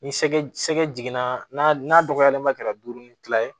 Ni sɛgɛ jiginna n'a n'a dɔgɔyalen ba kɛra duuru ni kila ye